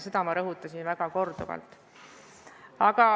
Seda ma rõhutasin korduvalt.